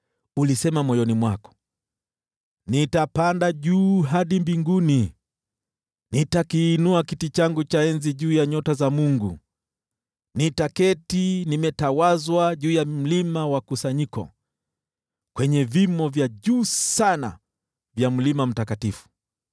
Ulisema moyoni mwako, “Nitapanda juu hadi mbinguni, nitakiinua kiti changu cha enzi juu ya nyota za Mungu, nitaketi nimetawazwa juu ya mlima wa kusanyiko, kwenye vimo vya juu sana vya Mlima Mtakatifu.